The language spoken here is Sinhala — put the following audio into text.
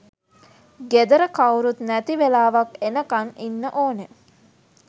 ගෙදර කවුරුත් නැති වෙලාවක් එනකන් ඉන්න ඕනේ.